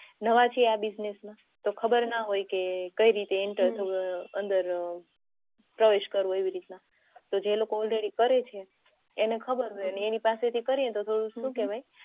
નવા છે આ business માં તો ખબર ના હોય કે કઈ રીતે enter અંદર પ્રવેશ કરવો રીતના તો જે લોકો already કરે છે તો એની પાસે થી કરીયે તો શું કેવાય